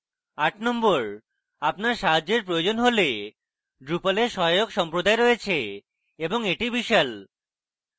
number 8: আপনার সাহায্যের প্রয়োজন হলে সেখানে drupal এর সহায়ক সম্প্রদায় রয়েছে এবং এটি বিশাল